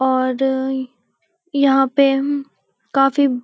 और यहाँ पे हम काफी --